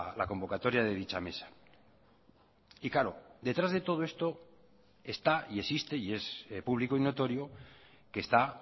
la convocatoria de dicha mesa y claro detrás de todo esto está y existe y es público y notorio que está